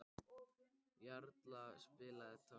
Jarla, spilaðu tónlist.